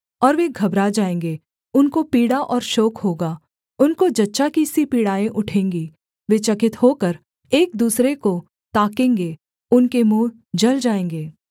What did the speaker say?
और वे घबरा जाएँगे उनको पीड़ा और शोक होगा उनको जच्चा की सी पीड़ाएँ उठेंगी वे चकित होकर एक दूसरे को ताकेंगे उनके मुँह जल जाएँगे